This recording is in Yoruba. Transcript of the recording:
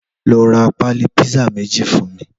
Lò rà pàlí pizza méjí fún mi